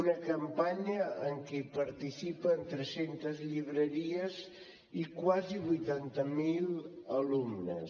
una campanya en què hi participen tres centes llibreries i quasi vuitanta mil alumnes